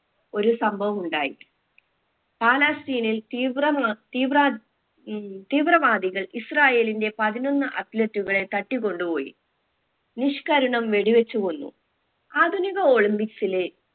ഒരു സംഭവം ഉണ്ടായി പാലാസ്തീനിൽ തീവ്രമാ തീവ്രാദി ഉം തീവ്രവാദികൾ ഇസ്രാഈലിന്റെ പതിനൊന്ന് athlete കളെ തട്ടിക്കൊണ്ട് പോയി നിഷ്കരുണം വെടിവെച്ചു കൊന്നു ആധുനിക olympics ലെ